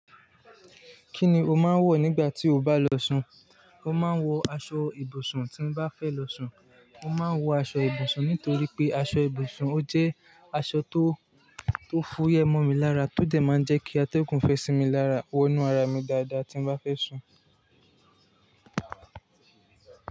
Kí ni o máa ń wọ̀ nígbà tí o bá lọ sun? Mo máa ń wọ aṣọ ibùsùn tí n bá fẹ́ lọ sun. Mo máa ń wọ aṣọ ibùsùn nítorí pé aṣọ ibùsùn ó jẹ́ aṣọ tó, tó fúyẹ́ mọ mi lára, tó jẹ̀ máa ń jẹ́ kí atẹ́gùn fẹ sí mi lára, wọnú ara mi dáadáa tí n bá fẹ́ sun.